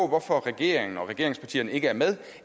hvorfor regeringen og regeringspartierne ikke er med